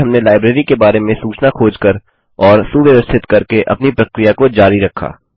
फिर हमने लाइब्रेरी के बारे में सूचना खोज कर और सुव्यवस्थित करके अपनी प्रक्रिया को जारी रखा